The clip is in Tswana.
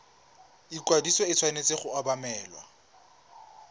ikwadiso e tshwanetse go obamelwa